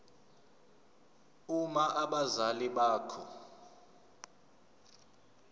uma abazali bakho